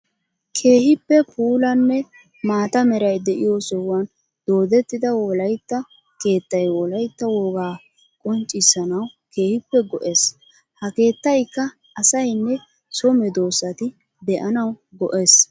Keehippe puulanne maata meray de'iyo sohuwan doodetida wolaytta keettay wolaytta wogaa qonccissanawu keehippe go'ees. Ha keettaykka asayinne so meedosatti de'anawu go'ees.